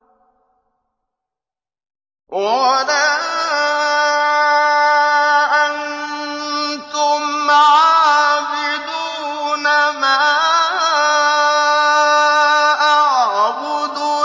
وَلَا أَنتُمْ عَابِدُونَ مَا أَعْبُدُ